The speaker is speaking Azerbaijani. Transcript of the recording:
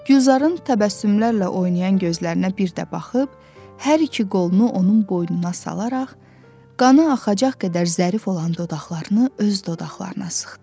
Gülzarın təbəssümlərlə oynayan gözlərinə bir də baxıb, hər iki qolunu onun boynuna salaraq, qanı axacaq qədər zərif olan dodaqlarını öz dodaqlarına sıxdı.